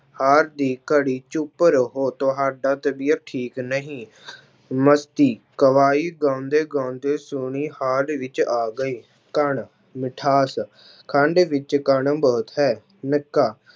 ਹਾਲ ਦੀ ਘੜੀ ਚੁਪ ਰਹੋ ਤੁਹਾਡਾ ਤਬੀਅਤ ਠੀਕ ਨਹੀਂ ਮਸਤੀ ਗਵਾਈ ਗਾਉਂਦੇ ਗਾਉਂਦੇ ਸੋਹਣੀ ਹਾਲ ਵਿੱਚ ਆ ਗਏ, ਕਣ ਮਿਠਾਸ ਖੰਡ ਵਿੱਚ ਕਣ ਬਹੁਤ ਹੈ, ਨਿੱਕਾ